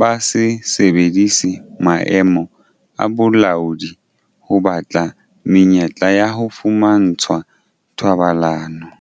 ba se sebedise maemo a bolaodi ho batla menyetla ya ho fumantshwa thobalano.